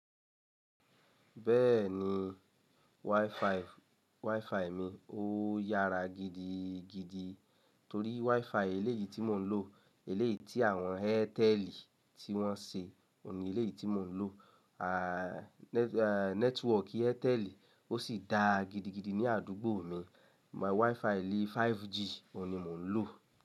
Bẹ́ẹ̀ni, wifi mi ó yára gidigidi torí wifi eléyìí tí mò ń lò, eléyìí tí àwọn Airtel tí wọ́n ṣe, òun ni eléyìí tí mò ń lò. Ah network Airtel ó sì da gidigidi ní àdúgbò mi. My wifi lé 5G òun ni mò ń lò.